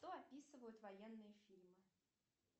что описывают военные фильмы